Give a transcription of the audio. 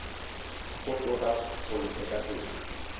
go tona go le sekaseka